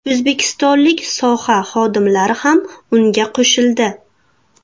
O‘zbekistonlik soha xodimlari ham unga qo‘shildi.